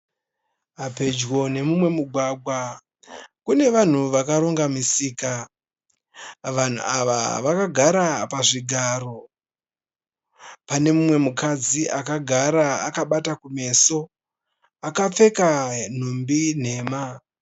Pedyo nemumwe mugwagwa kune vanhu vakaronga misika. Vanhu ava vakagara pazvigaro. Pane mumwe mukadzi akagara akabata kumeso akapfeka nhumbi nhema.